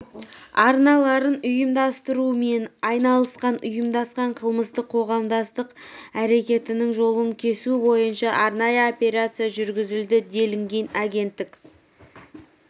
арналарын ұйымдастырумен айналысқан ұйымдасқан қылмыстық қоғамдастық әрекетінің жолын кесу бойынша арнайы операция жүргізілді делінген агенттік